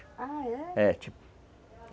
Ah, é? é, tipo